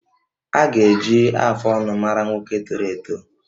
A ga-eji afụ ọnụ mara nwoke toro eto